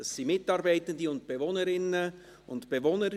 Es sind Mitarbeitende, Bewohnerinnen und Bewohner.